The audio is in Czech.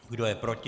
Kdo je proti?